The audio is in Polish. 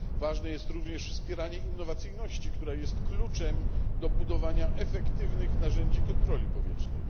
Ważne jest również wspieranie innowacyjności, która jest kluczem do budowania efektywnych narzędzi kontroli powietrznej.